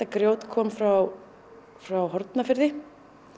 grjót kom frá frá Hornafirði